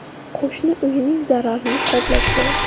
Qo‘shni uyining zararini qoplash kerak.